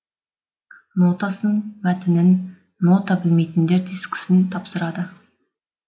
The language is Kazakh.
нотасын мәтінін нота білмейтіндер дискісін тапсырады